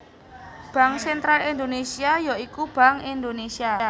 Bank sentral Indonésia ya iku Bank Indonésia